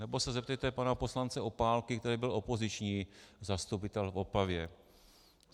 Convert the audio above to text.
Nebo se zeptejte pana poslance Opálky, který byl opoziční zastupitel v Opavě.